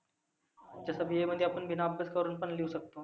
तसं BA मध्ये आपण बिना अभ्यास करुण पण लिहू शकतो.